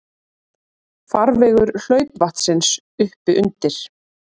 Farvegur hlaupvatnsins uppi undir